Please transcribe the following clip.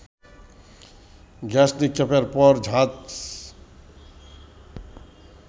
gas নিক্ষেপের পর ঝাঁজ